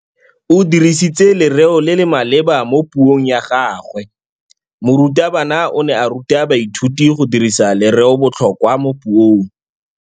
O dirisitse lerêo le le maleba mo puông ya gagwe. Morutabana o ne a ruta baithuti go dirisa lêrêôbotlhôkwa mo puong.